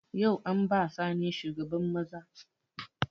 Yau an ba Sani shugaban maza